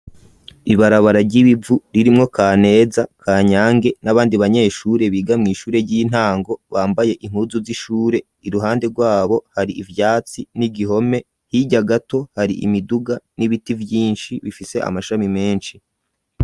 Ibarabara ry'ibivu ririmwo Kaneza, Kanyange n'abandi banyeshure biga mw'ishure ry'intango, bambaye impuzu z'ishure iruhande rwabo hari ivyatsi n'igihome hirya gato hari imiduga n'ibiti vyinshi bifise amashami menshi.